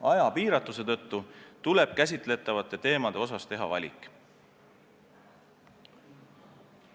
Aja piiratuse tõttu tuleb käsitletavate teemade seas valik teha.